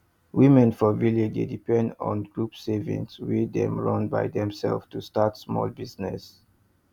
women for village dey depend on group saving wey dem run by themselves to start small business